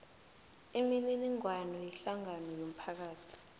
imininingwana yehlangano yomphakathi